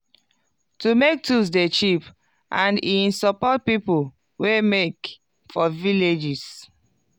to make tools dey cheap and e support people wey make for villages.